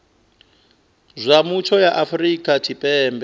zwa mutsho ya afrika tshipembe